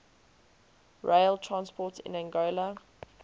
rail transport in angola